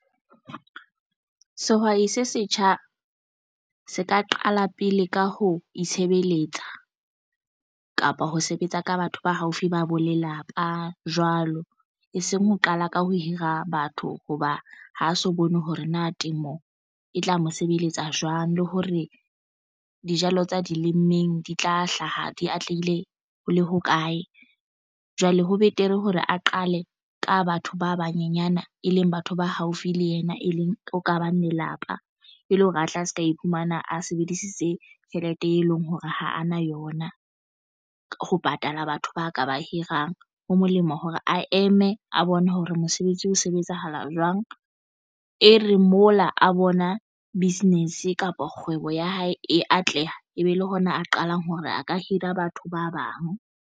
Sehwai se setjha se ka qala pele ka ho itshebeletsa kapa ho sebetsa ka batho ba haufi ba bo lelapa jwalo e seng ho qala ka ho hira batho hoba ha so bone hore na temo e tla mo sebeletsa jwang le hore dijalo tsa di lemmeng di tla hlaha di atlehile ho le hokae. Jwale ho betere hore a qale ka batho ba banyenyana e leng batho ba haufi le yena e leng ho kabang lelapa e le hore a tla se ka iphumana a sebedisitse tjhelete e leng hore ha a na yona ho patala batho ba ka ba hirang. Ho molemo hore a eme a bone hore mose sebetsi ho sebetsahala jwang. E re mola a bona business kapa kgwebo ya hae e atleha ebe le hona a qalang hore a ka hira batho ba bang.